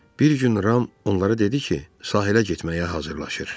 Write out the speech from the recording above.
Bir gün Ram onlara dedi ki, sahilə getməyə hazırlaşır.